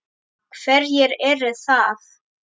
Hverjir eru það?